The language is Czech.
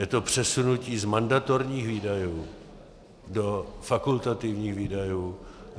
Je to přesunutí z mandatorních výdajů do fakultativních výdajů.